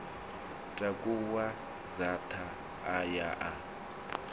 takuwa dzaṱa a ya a